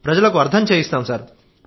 ప్రజలకు అర్థం చేయిస్తాం సార్